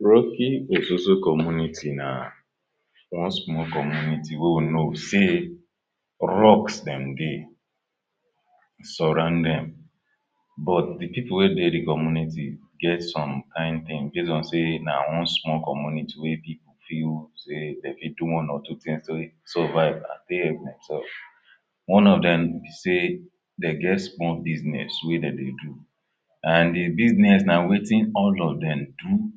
Rocky Ososo community na one small community wey we know sey rocks dem dey, surround dem but dey people wey dey community get some kain thing base sey na one small community wey people feel sey dey fit do one or two things take suvive and take help demself. One of dem be sey dey get small business wey dem dey do and dey business na wetin all of dem do,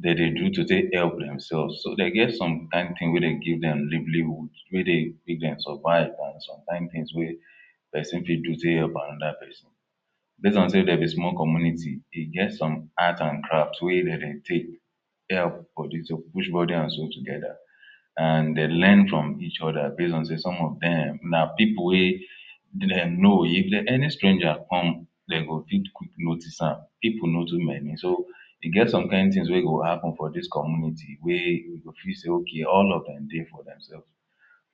dem dey do to take help demselves, so dey get some kain things wey dey give dem livelihood, wey dey make dem survive and some kain things wey persin fit do take help another persin. base on sey dem be small community, e get some arts and crafts wey dem dey take help body to take push body and soul together. and dey learn fom each other base on sey some of dem na pipul wey dem know. If any stranger come dey go fit notice am, pipul no too many so e get some kain things wey go happen for dis community wey you go fit sey okay all of dem dey for demself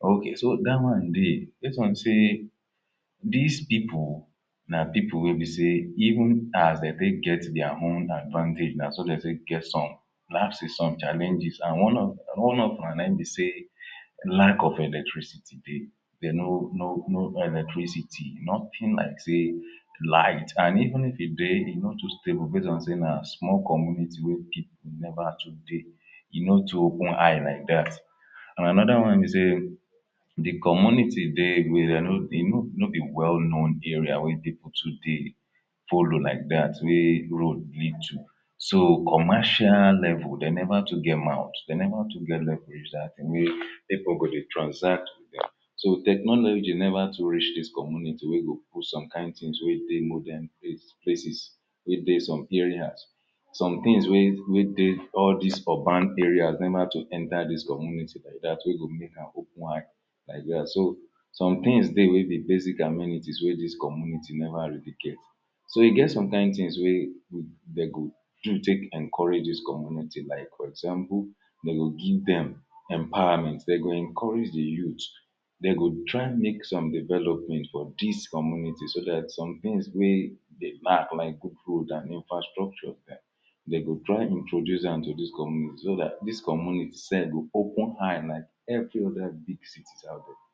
okay, so dat one dey base on sey dis pipul, na pipul wey be sey even as dey take get dia own advantage na so dem take get some lapses, some challenges and one of am nayin be sey lack of electricity dey, dey no no electricity, nothing like sey light and even if e dey e no too stable base on sey na small community wey pipul never too dey, e no too open eye like dat. and another one be sey dey community dey no be well known area where pipul too dey follow like dat where road lead to. So commercial level dem never too get mouth, dem never too get level wey people go dey transact, so technology never too reach dis community wey go put some kain things wey dey modern places wey dey some areas. some things wey wey dey all dis urban areas never too enter dis community wey go make am open eye like dat. So some things dey wey be basic amenities wey dis community never really get So e get some kain things wey dey do do take encourage dis comunity like for example, dey go give dem empowerment, dey go encourage dey youths dem go try make some development for dis community so dat some things wey dey lack like good road and infrastructure dem go try introduce am to dis community so dat dis community sef go open eye like every other big cities out dia.